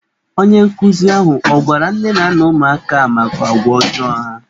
Onye nkụzi ahụ ọ gwara nne na nna ụmụaka a maka agwa ọjọọ ha?